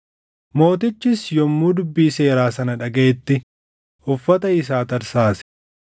Mootichis yommuu dubbii Seeraa sana dhagaʼetti uffata isaa tarsaase.